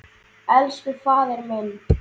Elsku faðir minn.